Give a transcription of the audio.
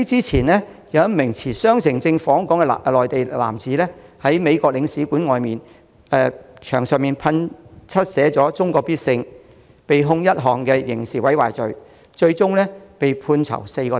前不久，一名持雙程證訪港的內地男子，在美國領事館外牆用噴漆噴上"中國必勝"字句，被控刑事毀壞罪，被判囚4星期。